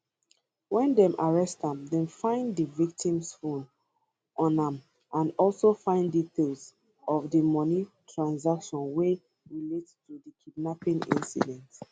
wen dem arrest am dem find di victim phone on am and also find details of di money transation wey relate to di kidnapping incident